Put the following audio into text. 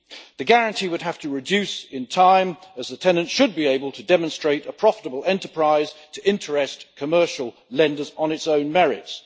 The guarantee would have to reduce in time, as the tenants should be able to demonstrate a profitable enterprise to interest commercial lenders on its own merits.